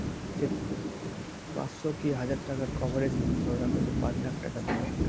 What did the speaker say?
পাঁচশো কি হাজার টাকার coverage ধরে রাখো যে পাঁচ লাখ টাকা দিবা